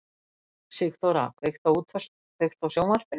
Sigþóra, kveiktu á sjónvarpinu.